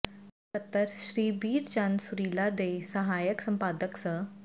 ਸਕੱਤਰ ਸ੍ਰੀ ਬੀਰ ਚੰਦ ਸੁਰੀਲਾ ਤੇ ਸਹਾਇਕ ਸੰਪਾਦਕ ਸ